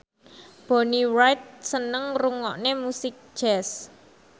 Bonnie Wright seneng ngrungokne musik jazz